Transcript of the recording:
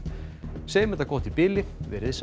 segjum þetta gott í bili veriði sæl